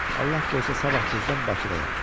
Allah qoysa sabah tezdən Bakıdayam.